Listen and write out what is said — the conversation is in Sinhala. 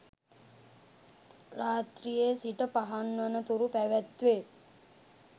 රාත්‍රියේ සිට පහන් වන තුරු පැවැත්වේ.